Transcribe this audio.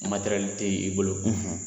tɛ i bolo